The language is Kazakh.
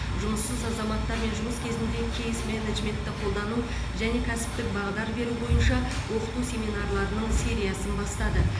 жұмыссыз азаматтармен жұмыс кезінде кейс менеджментті қолдану және кәсіптік бағдар беру бойынша оқыту семинарларының сериясын бастады